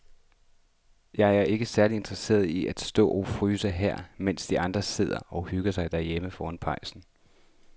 Jeg er ikke særlig interesseret i at stå og fryse her, mens de andre sidder og hygger sig derhjemme foran pejsen.